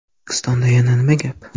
O‘zbekistonda yana nima gap?